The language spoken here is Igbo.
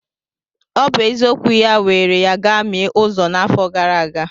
Obi eziokwu ya were ya gamie uzo n'afọ gara aga.